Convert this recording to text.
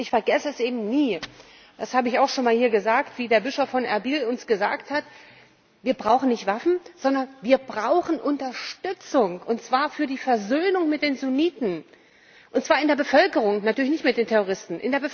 Ich vergesse es eben nie das habe ich auch schon einmal hier gesagt wie der Bischof von Erbil uns gesagt hat Wir brauchen nicht Waffen, sondern wir brauchen Unterstützung, und zwar für die Versöhnung mit den Sunniten, und zwar in der Bevölkerung, natürlich nicht mit den Terroristen.